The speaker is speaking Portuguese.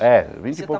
É, vinte e pou Você